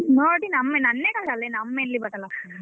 ನೋಡಿ ನನ್ನೇ ಕಲ್ಸಲ್ಲ ನೀನು ಅಮ್ಮ ಎಲ್ಲಿ ಬರ್ತಾಳ.